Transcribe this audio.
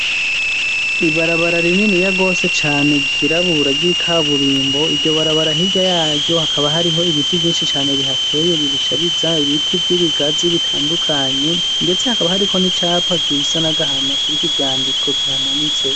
Ibarabara rininiya gose cane ryirabura ry'ikaburimbo, iryo barabara hirya y'aryo hakaba hariho ibiti vyinshi cane bihateye birishariza, ibiti vy'ibigazi bitandukanye, ndetse hakaba hariko n'icapa gisa n'agahama kiriko ivyandiko, kihamanitse.